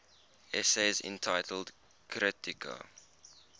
essays entitled kritika